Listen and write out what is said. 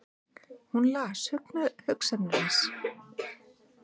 Hún las hugsanir hans!